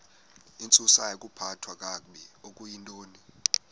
intsusayokuphathwa kakabi okuyintoni